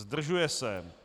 Zdržuje se.